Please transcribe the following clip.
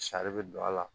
Sari bɛ don a la